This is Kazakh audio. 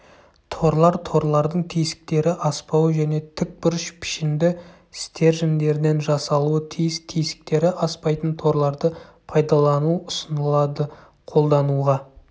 торлар торлардың тесіктері аспауы және тікбұрыш пішінді стержендерден жасалуы тиіс тесіктері аспайтын торларды пайдалану ұсынылады қолдануға